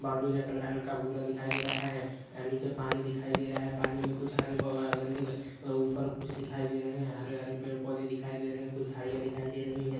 Boundary का colour हल्का भूरा दिखाई दे रहा है आ निचे पानी दिखाई दे रहा है पानी में कुछ हरे ग गय गंदे ग ऊपर कुछ दिखाई दे रहे है हरे हरे पेड़ पौधे दिखाई दे रहै है कुछ झरिया दिखाई दे रही है।